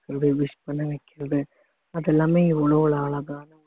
wish பண்ண வைக்கிறது அது எல்லாமே எவ்வளோ அழகா